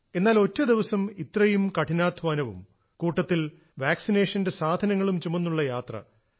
എന്നാൽ ഒറ്റ ദിവസം ഇത്രയും കഠിനാധ്വാനവും കൂട്ടത്തിൽ വാക്സിനേഷന്റെ സാധനങ്ങളും ചുമന്നുള്ള യാത്ര